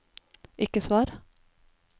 ikke svar